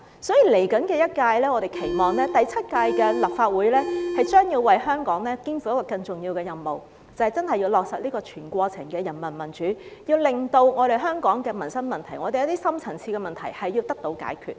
所以在未來一屆，我們期望第七屆的立法會將要為香港肩負更重要的任務，就是真的要落實全過程的人民民主，令到香港的民生問題、一些深層次的問題得到解決。